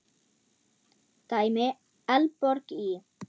Dæmi: Eldborg í